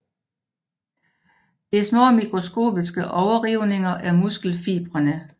Det er små mikroskopiske overrivninger af muskelfibrene